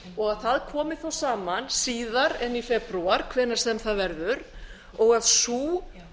og að það komi þá saman síðar en í febrúar hvenær sem það nú verður og að sú